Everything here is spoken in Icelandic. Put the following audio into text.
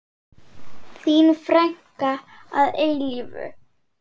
Þín frænka að eilífu.